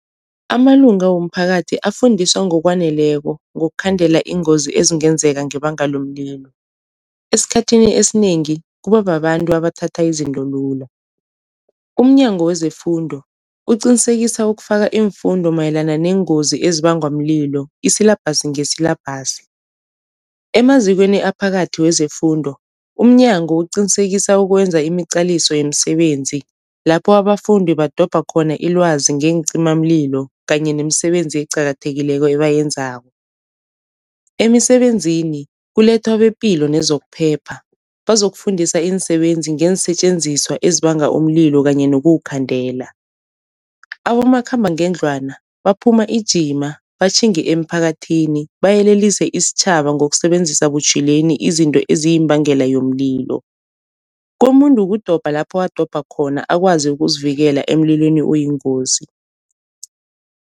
Amalunga womphakathi afundiswa ngokwaneleko ngokukhandela iingozi ezingenzeka ngebanga lomlilo. Esikhathini esinengi kuba babantu abathatha izinto lula, umnyango wezeFundo uqinisekisa ukufaka iimfundo mayelana neengozi ezibangwa mlilo isilabhasi ngesilabhasi. Emazikweni aphakathi wezefundo umnyango uqinisekisa ukwenza imiqaliso yemisebenzi lapho abafundi badobha khona ilwazi ngeencimamlilo kanye nemisebenzi eqakathekileko ebayenzako. Emisebenzini kulethwa bepilo nezokuphepha bazokufundisa iinsebenzi ngeensetjenziswa ezibanga umlilo kanye nokuwukhandela. Abomakhambangendlwana baphuma ijima batjhinge emphakathini bayelelise isitjhaba ngokusebenzisa butjhwileni izinto eziyimbangela yomlilo, komuntu kudobha lapho adobha khona akwazi ukuzivikela emlilweni oyingozi.